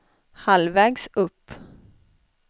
halvvägs upp